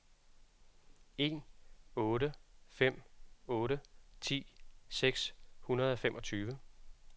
en otte fem otte ti seks hundrede og femogtyve